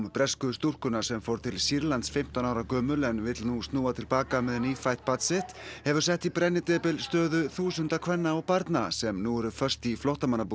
bresku stúlkunnar sem fór til Sýrlands fimmtán ára gömul en vill nú snúa til baka með nýfætt barn sitt hefur sett í brennidepil stöðu þúsunda kvenna og barna sem nú eru föst í flóttamannabúðum